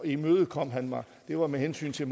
imødekom han mig det var med hensyn til